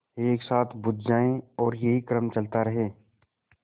एक साथ बुझ जाएँ और यही क्रम चलता रहे